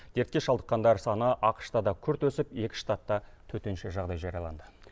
дертке шалдыққандар саны ақш та да күрт өсіп екі штатта төтенше жағдай жарияланды